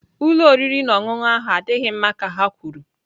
Ụlọ oriri na ọṅụṅụ ahụ adịghị mma ka ha kwuru.